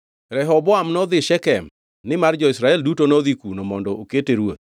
Rehoboam nodhi Shekem, nimar jo-Israel duto nodhi kuno mondo okete ruoth.